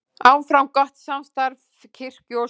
Áfram gott samstarf kirkju og skóla